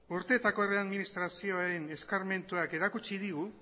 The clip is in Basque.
urteetako herri administrazioen eskarmentuan erakutsi digu